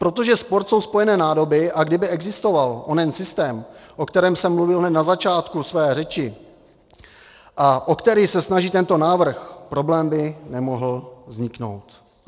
Protože sport jsou spojené nádoby, a kdyby existoval onen systém, o kterém jsem mluvil hned na začátku své řeči a o který se snaží tento návrh, problém by nemohl vzniknout.